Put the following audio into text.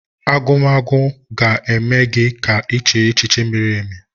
Agwugwa ga-eme gị ka iche echiche miri emi